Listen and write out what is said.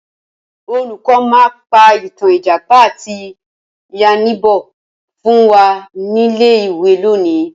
Olùkọ́ máa pa ìtàn Ìjàpá àti yánníbo fún wa nílé ìwé lónìí